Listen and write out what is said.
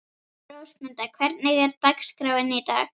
Rósmunda, hvernig er dagskráin í dag?